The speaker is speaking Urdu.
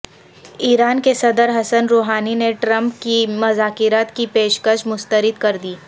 ایران کے صدر حسن روحانی نے ٹرمپ کی مذاکرات کی پیش کش مسترد کردی